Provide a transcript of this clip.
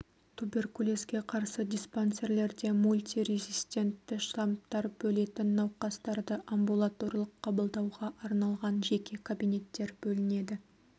туберкулезге қарсы диспансерлерде мульти резистентті штаммдар бөлетін науқастарды амбулаторлық қабылдауға арналған жеке кабинеттер бөлінеді